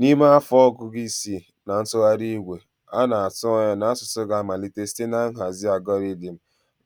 N'ime afọ ọgụgụ isi na ntụgharị igwe, a na-atụ anya na asụsụ ga-amalite site na nhazi algọridim